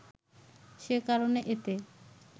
সে কারণে এতে